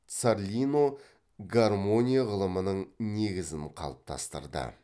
царлино гармония ғылымының негізін қалыптастырды